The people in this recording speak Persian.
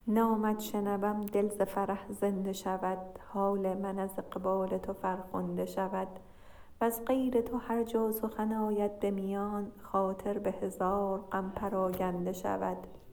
نامت شنوم دل ز فرح زنده شود حال من از اقبال تو فرخنده شود وز غیر تو هر جا سخن آید به میان خاطر به هزار غم پراگنده شود